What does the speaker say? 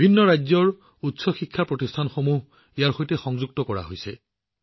বিভিন্ন ৰাজ্যৰ উচ্চ শিক্ষানুষ্ঠানসমূহ ইয়াৰ সৈতে সংযুক্ত কৰা হৈছে